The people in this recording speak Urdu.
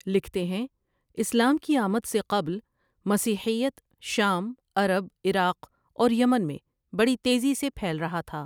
لکھتے ہیں اسلام کی آمد سے قبل مسیحیت شام عرب عراق اور یمن میں بڑی تیزی سے پهیل رہا تها ۔